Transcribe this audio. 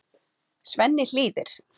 Svenni hlýðir.